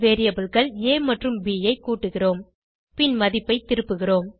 variableகள் ஆ மற்றும் ப் ஐ கூட்டுகிறோம் பின் மதிப்பை திருப்புகிறோம்